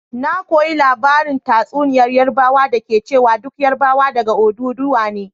Na koyi labarin tatsuniyar Yarbawa da ke cewa duk Yarbawa daga Odùduwa ne.